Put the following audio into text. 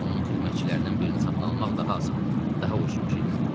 Onun xidmətçilərindən birini satın almaq daha asan, daha ucuz başa gələrdi.